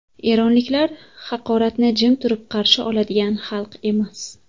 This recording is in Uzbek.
Eronliklar haqoratni jim turib qarshi oladigan xalq emas.